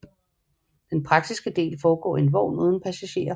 Den praktiske del foregår i en vogn uden passagerer